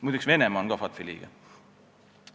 Muide, Venemaa on ka FATF-i liige.